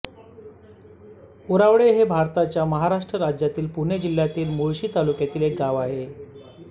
उरावडे हे भारताच्या महाराष्ट्र राज्यातील पुणे जिल्ह्यातील मुळशी तालुक्यातील एक गाव आहे